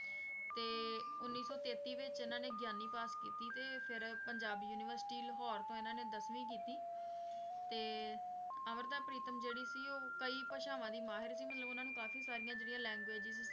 ਤੇ ਉੱਨੀ ਸੌ ਤੇਤੀ ਵਿੱਚ ਇਹਨਾਂ ਨੇ ਗਿਆਨੀ ਪਾਸ ਕੀਤੀ ਤੇ ਫਿਰ ਪੰਜਾਬ university ਲਾਹੌਰ ਤੋਂ ਇਹਨਾਂ ਨੇ ਦਸਵੀਂ ਕੀਤੀ ਤੇ ਅੰਮ੍ਰਿਤਾ ਪ੍ਰੀਤਮ ਜਿਹੜੀ ਸੀ ਉਹ ਕਈ ਭਾਸ਼ਾਵਾਂ ਦੀ ਮਾਹਿਰ ਸੀ ਮਤਲਬ ਉਹਨਾਂ ਨੂੰ ਕਾਫ਼ੀ ਸਾਰੀਆਂ ਜਿਹੜੀਆਂ languages